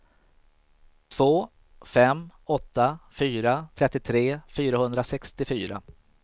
två fem åtta fyra trettiotre fyrahundrasextiofyra